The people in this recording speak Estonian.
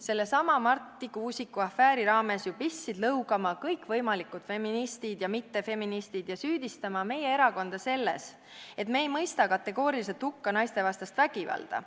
sellesama Marti Kuusiku afääri raames ju pistsid lõugama kõikvõimalikud feministid ja mittefeministid ja süüdistama meie erakonda selles, et me ei mõista kategooriliselt hukka naiste vastast vägivalda.